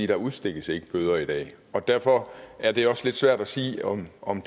der udstikkes ikke bøder i dag derfor er det også lidt svært at sige om om